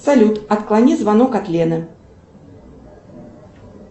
салют отклони звонок от лены